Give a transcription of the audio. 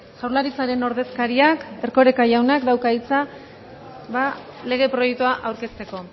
jaurlaritzaren ordezkariak erkoreka jaunak dauka hitza lege proiektua aurkezteko